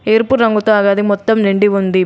ఎరుపు రంగుతో ఆ గది మొత్తం నిండి ఉంది.